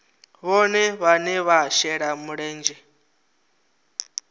vhohe vhane vha shela mulenzhe